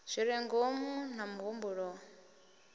zwi re ngomu na mihumbulo